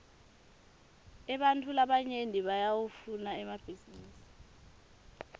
ebantfu labanyenti bayawafuna emabhisinisi